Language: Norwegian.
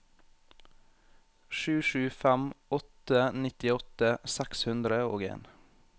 sju sju fem åtte nittiåtte seks hundre og en